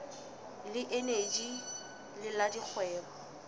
le eneji le la dikgwebo